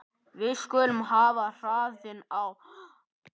Við skulum hafa hraðann á.